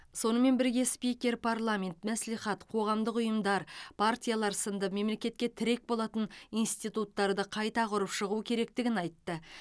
сонымен бірге спикер парламент мәслихат қоғамдық ұйымдар партиялар сынды мемлекетке тірек болатын институттарды қайта құрып шығу керектігін айтты